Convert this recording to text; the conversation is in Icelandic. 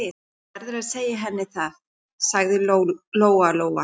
Þú verður að segja henni það, sagði Lóa-Lóa.